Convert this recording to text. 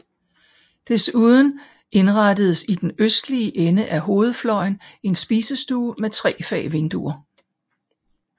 Desuden indrettedes i den østlige ende af hovedfløjen en spisestue med tre fag vinduer